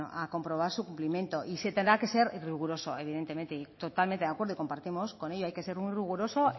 a comprobar su cumplimiento y se tendrá que ser riguroso evidentemente y totalmente de acuerdo y compartimos con ello hay que ser muy riguroso